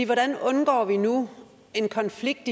hvordan undgår vi nu en konflikt